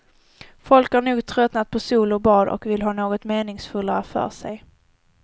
Folk har nog tröttnat på sol och bad och vill ha något meningsfullare för sig.